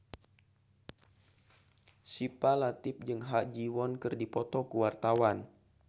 Syifa Latief jeung Ha Ji Won keur dipoto ku wartawan